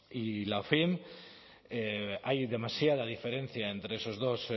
y la ofin hay demasiada diferencia entre esos dos